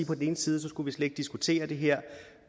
på den ene side skulle vi slet ikke diskutere det her